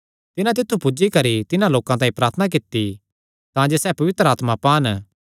तिन्हां तित्थु पुज्जी करी तिन्हां लोकां तांई प्रार्थना कित्ती तांजे सैह़ पवित्र आत्मा पान